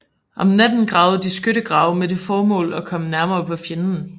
Om natten gravede de skyttegrave med det formål at komme nærmere på fjenden